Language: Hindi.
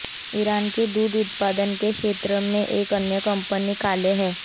ईरान के दुग्ध उत्पादन के क्षेत्र में एक अन्य कंपनी काले है